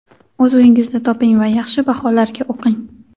o‘z uyingizni toping va yaxshi baholarga o‘qing.